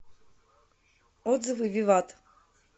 отзывы виват